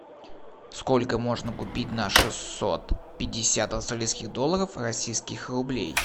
сколько можно купить на шестьсот пятьдесят австралийских долларов российских рублей